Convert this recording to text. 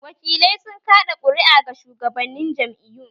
Wakilai sun kaɗa ƙuru'a ga shugabannin jam'iyun